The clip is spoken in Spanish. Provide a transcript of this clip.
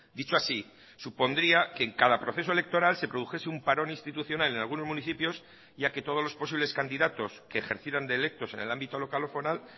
dicho así supondría que en cada proceso electoral se produjese un parón institucional en algunos municipios ya que todos los posibles candidatos que ejercieran de electos en el ámbito local o foral